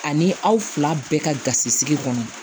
Ani aw fila bɛɛ ka gasi sigi kɔnɔ